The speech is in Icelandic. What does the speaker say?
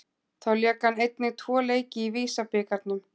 Þá lék hann einnig tvo leiki í VISA-bikarnum.